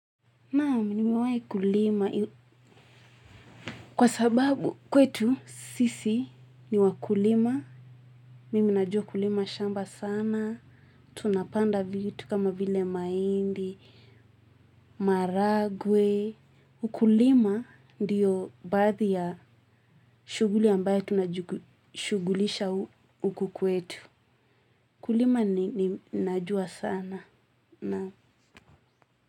Nam nimewae kulima. Kwa sababu kwetu, sisi, niwa kulima. Mimi najua kulima shamba sana. Tunapanda vitu kama vile maindi, maragwe. Ukulima ndiyo bathi ya shuguli ambayo tunashugulisha huku kwetu. Kulima ni najua sana. Na.